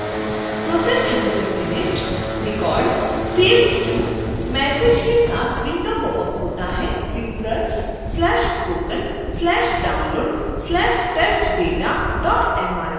process has been finished records saved to: message के साथ window popup होता है